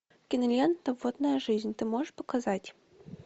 кинолента водная жизнь ты можешь показать